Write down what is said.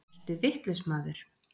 Ertu vitlaus, maður!